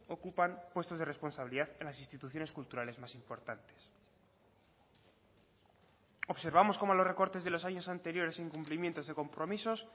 ocupan puestos de responsabilidad en las instituciones culturales más importantes observamos como los recortes de los años anteriores incumplimientos de compromisos